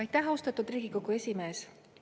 Aitäh, austatud Riigikogu esimees!